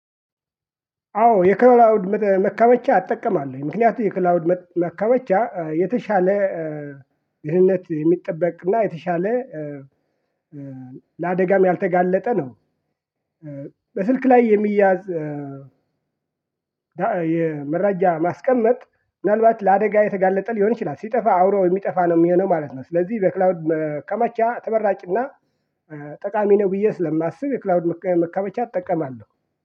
አዎ የክላውድ መከመቻ እጠቀማለው ምክንያቱም የክላውድ መከበቻ የተሻለ ደህነት የሚጠበቅና የተሻለ ለአደጋም ያልተጋለጠ ነው። በስልክ ላይ የሚያዝ። የመረጃ ማስቀመጥ ምናልባት ለአደጋ የተጋለጠ ሊሆን ይችላል ሲጠፋ አውሮ የሚጠፋ ነው የሚሆነው ማለት ነው። ስለዚህ በክላውድ መከመቻ ተመራጭና ጠቃሚ ነው ብዬ ስለማስብ። የክላውድ መቀመጫ እጠቀማለሁ